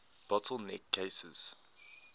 bottle neck cases